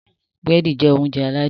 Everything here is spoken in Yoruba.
Burẹdi jẹ oúnjẹ aládùn